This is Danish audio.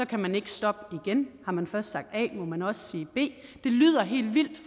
kan man ikke stoppe igen har man først sagt a må man også sige b det lyder helt vildt